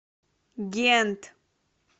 гент